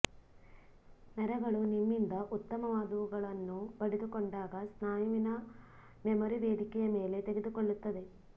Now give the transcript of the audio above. ನರಗಳು ನಿಮ್ಮಿಂದ ಉತ್ತಮವಾದವುಗಳನ್ನು ಪಡೆದುಕೊಂಡಾಗ ಸ್ನಾಯುವಿನ ಮೆಮೊರಿ ವೇದಿಕೆಯ ಮೇಲೆ ತೆಗೆದುಕೊಳ್ಳುತ್ತದೆ